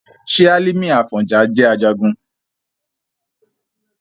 ṣé Hálímì Àfọ̀njá jẹ́ Ajagun?